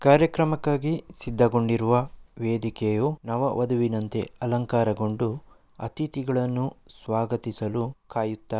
ಕಾರ್ಯಕ್ರಮಕ್ಕಾಗಿ ಸಿದ್ಧಗೊಂಡಿರುವ ವೇದಿಕೆಯು ನವ ವಧುವಿನಂತೆ ಅಲಂಕಾರಗೊಂಡು ಅತಿಥಿಗಳನ್ನು ಸ್ವಾಗತಿಸಲು ಕಾಯುತ್ತಾ--